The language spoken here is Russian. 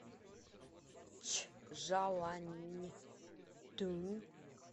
чжаланьтунь